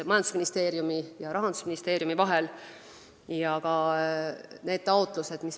Majandusministeeriumi ja Rahandusministeeriumi vahel olid eile just riigieelarve läbirääkimised.